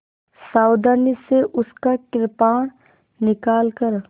सावधानी से उसका कृपाण निकालकर